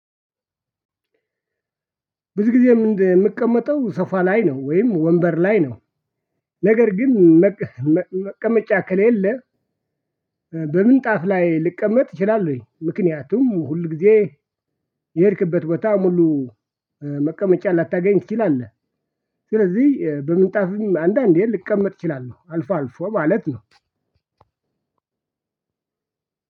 ብዙ ጊዜ የምቀመጠው ሶፋ ላይ ነው ወይም ወንበር ላይ ነው ነገር ግን መቀመጫ ከሌለ በምንጣፍ ላይ ልቀመጥ እችላለሁኝ ምክንያቱም ሁል ጊዜ የሄድክበት ቦታ ሙሉ መቀመጫ ላታገኝ ትችላለህ። ስለዚህ በምንጣፍም አንዳንዴ ልቀመጥ እችላለሁ አልፎ አልፎ ማለት ነው